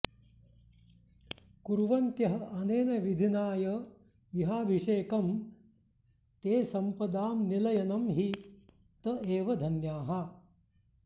कुर्वन्त्य्ह् अनेन विधिना य इहाभिषेकं ते सम्पदां निलयनं हि त एव धन्याः